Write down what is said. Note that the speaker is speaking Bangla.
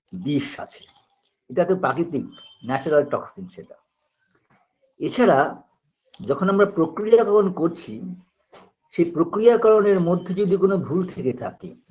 বিষ আছে এটাকে প্রাকৃতিক natural toxin সেটা এছাড়া যখন আমরা প্রক্রিয়াকরণ করছি সেই প্রক্রিয়াকরণের মধ্যে যদি কোনো ভুল থেকে থাকে